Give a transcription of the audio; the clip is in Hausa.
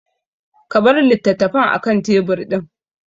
Ka bar litattafan akan tebur ɗin!